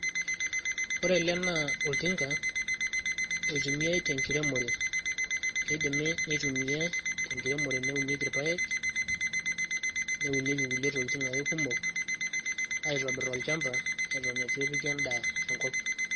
ore ele naa oltinka oitumiai tenkiremore keidimi neitumiai tenkiremore neunieki irpayek neunieki kulie tokitin ake kumok aitobirr olchamba eton eitu epiki endaa enkop.